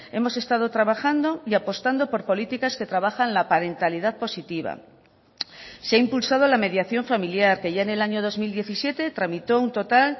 hemos estado trabajando y apostando por políticas que trabajan la parentalidad positiva se ha impulsado la mediación familiar que ya en el año dos mil diecisiete tramitó un total